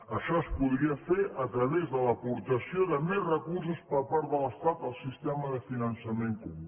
això es podria fer a través de l’aportació de més recursos per part de l’estat al sistema de finançament comú